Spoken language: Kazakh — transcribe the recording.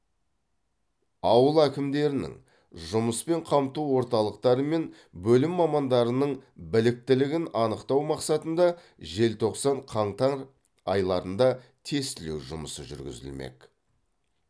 ауыл әкімдерінің жұмыспен қамту орталықтары мен бөлім мамандарының біліктілігін анықтау мақсатында желтоқсан қаңтар айларында тестілеу жұмысы жүргізілмек